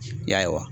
Ya